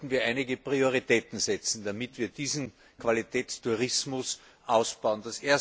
Hier sollten wir einige Prioritäten setzen, damit wir diesen Qualitätstourismus ausbauen.